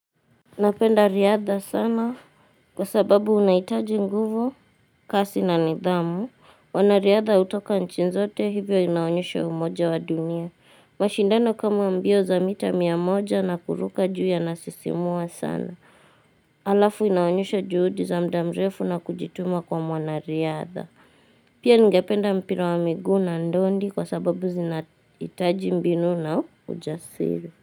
Napenda riadha sana kwa sababu unahitaji nguvu kasi na nidhamu, wanariadha hutoka nchi zote hivyo inaonyesha umoja wa dunia. Mashindano kama mbio za mita mia moja na kuruka juu ya nasisimua sana. Alafu inaonyesha juhudi za mda mrefu na kujituma kwa mwanariadha. Pia ningependa mpira wa miguu na ndondi kwa sababu zinaitaji mbinu na ujasiri.